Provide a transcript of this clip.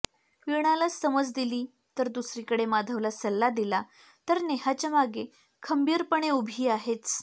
वीणाला समज दिली तर दुसरीकडे माधवला सल्ला दिला तर नेहाच्या मागे खंबीरपणे उभी आहेच